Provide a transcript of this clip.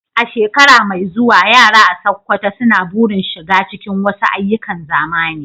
A shekara mai zuwa, yara a Sokoto suna burin shiga cikin wasu ayyukan zamani.